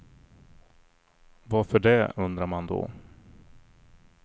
Varför det, undrar man då.